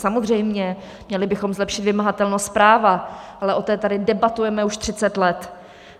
Samozřejmě, měli bychom zlepšit vymahatelnost práva, ale o té tady debatujeme už 30 let.